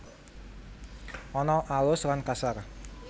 Ana alus lan kasar